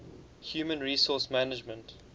human resource management